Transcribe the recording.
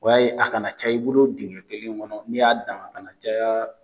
O y'a ye a ka na caya i bolo dingɛ kelen kɔnɔ, ni y'a dan, a ka na caya